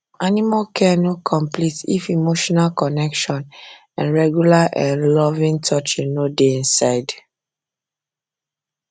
animal um care no complete if um emotional connection and regular um loving touch no dey inside